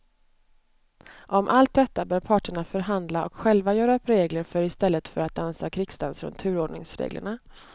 Om allt detta bör parterna förhandla och själva göra upp regler för i stället för att dansa krigsdans runt turordningsreglerna.